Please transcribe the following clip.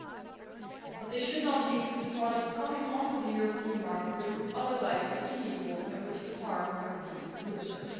However this should not lead to products coming onto the European market which would otherwise be illegal and which could harm European producers.